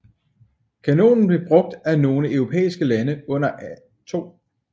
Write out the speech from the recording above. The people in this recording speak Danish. Kanonen blev brugt af nogle europæiske lande under 2